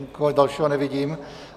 Nikoho dalšího nevidím.